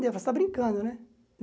Falei, você está brincando, né?